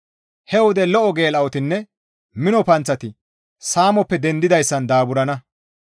He wode lo7o geela7otinne mino panththati saamoppe dendanayssan daaburana.